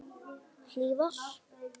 Hlífar